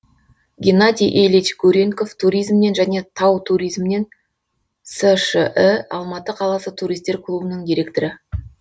геннадий ильич гурьенков туризмнен және тау туризмнен сш і алматы қаласы туристер клубының директоры